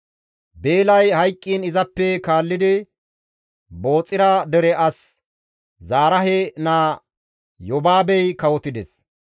Beelay hayqqiin izappe kaallidi Booxira dere as Zaraahe naa Yobaabey kawotides.